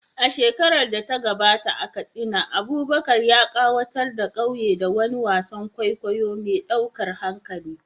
A shekarar da ta gabata, a Katsina, Abubakar ya ƙayatar da ƙauyen da wani wasan kwaikwayo mai ɗaukar hankali